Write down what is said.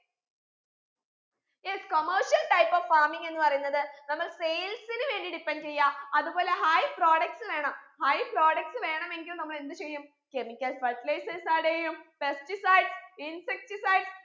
yes commercial type of farming എന്ന് പറയുന്നത് നമ്മൾ sales ന് വേണ്ടി depend എയ്യാ അത് പോലെ high products വേണം high products വേണെങ്കിൽ നമ്മൾ എന്ത് ചെയ്യും chemicals fertilizers add എയ്യും pesticides insecticides